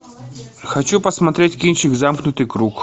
хочу посмотреть кинчик замкнутый круг